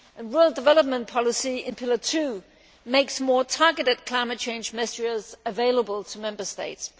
Rural development policy in pillar two makes more targeted climate change measures available to Member States.